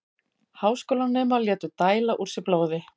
Háskólanemar létu dæla úr sér blóði